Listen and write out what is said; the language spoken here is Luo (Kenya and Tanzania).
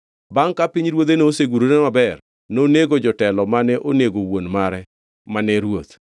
Bangʼ ka pinyruodhe nosegurore maber, nonego jotelo mane onego wuon mare mane ruoth.